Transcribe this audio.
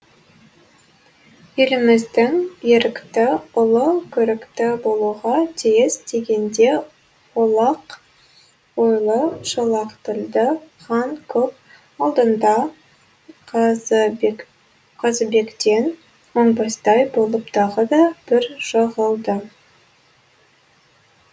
еліміздің ерікті ұлы көрікті болуға тиіс дегенде олақ ойлы шолақ тілді хан көп алдында қазыбектен оңбастай болып тағы да бір жығылды